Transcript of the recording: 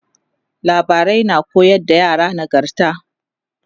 labarai na koyar da yara nagarta